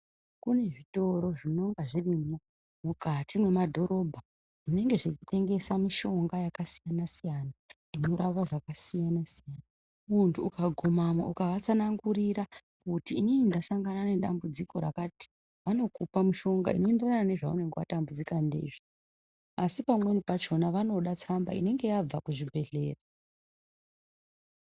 Kune zvitoro zvinonga zvirimwo mukati mwemadhorobha zvinenge zveitengesa mishonga yakasiyana siyana inorapa zvakasiyana siyana muntu ukagumamwo ukaatsanangurira kuti inini ndasangana nedambudziko rakati vanokupa mushonga unoenderana nezvaumenge watambudzika ndizvo asi pamweni pacho vanoda tsamba inenge yabva kuzvibhedhlera.